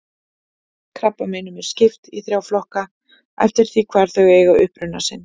Krabbameinum er skipt í þrjá flokka eftir því hvar þau eiga uppruna sinn.